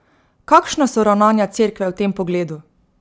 Kakšna so ravnanja cerkve v tem pogledu?